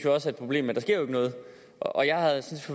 og jeg synes